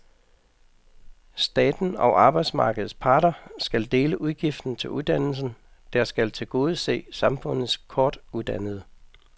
Staten og arbejdsmarkedets parter skal dele udgiften til uddannelsen, der skal tilgodese samfundets kortuddannede.